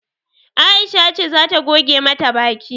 Aisha ce zata goge mata baki